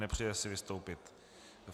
Nepřeje si vystoupit.